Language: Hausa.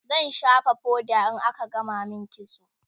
zan shafa foda in aka gama min kitso